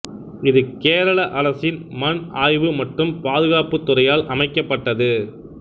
இது கேரள அரசின் மண் ஆய்வு மற்றும் பாதுகாப்புத் துறையால் அமைக்கப்பட்டது